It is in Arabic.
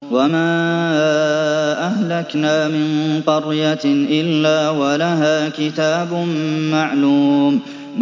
وَمَا أَهْلَكْنَا مِن قَرْيَةٍ إِلَّا وَلَهَا كِتَابٌ مَّعْلُومٌ